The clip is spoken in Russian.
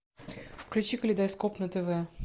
включи калейдоскоп на тв